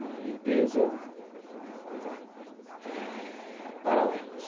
uma limpeza, uma coisa eh... paralela.